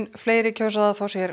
fleiri kjósa að fá sér